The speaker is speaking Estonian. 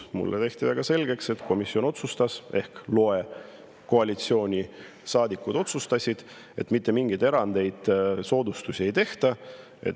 Mulle tehti väga selgeks, et komisjon otsustas – ehk loe: koalitsioonisaadikud otsustasid –, et mitte mingeid erandeid, soodustusi ei tehta.